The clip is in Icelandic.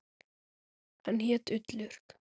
Hann hét Ullur.